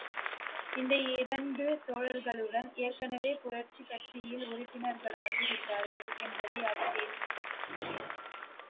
இந்த இரண்டு தோழர்களுடன் ஏற்கனவே புரட்சி கட்சியில் உறுப்பினர்களாகிவிட்டார்கள் என்பதை அறிந்தேன்